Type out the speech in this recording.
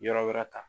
Yɔrɔ wɛrɛ ta